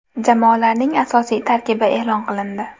Jamoalarning asosiy tarkibi e’lon qilindi.